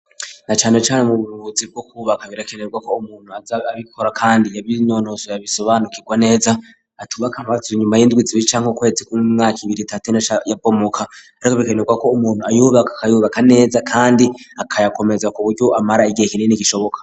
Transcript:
Na cane cane mwub'ubuzi bwo kubaka birakenerwa ko umuntu aza abikora kandi yabinonosoye abisobanukirwa neza atubaka maze inyuma y'indwi zibiri canke ukwezi kumwe mwaka ibiri, itatu canke ine igica ibomoka kandi birakenerwa ko umuntu ayubaka akayubaka neza kandi akayakomeza ku buryo amara igihe kinini gishoboka.